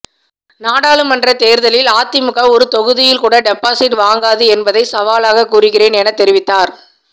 நாடாளுமன்ற தேர்தலில் அதிமுக ஒரு தொகுதியில் கூட டெபாசிட் வாங்காது என்பதை சாவலாக கூறுகிறேன் என தெரிவித்தார்